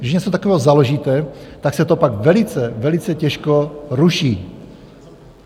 Když něco takového založíte, tak se to pak velice, velice těžko ruší.